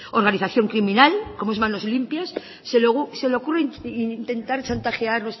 organización criminal como es manos limpias se les ocurre intentar chantajear